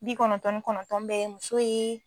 Bi kɔnɔntɔn ni kɔnɔntɔn bɛɛ ye muso ye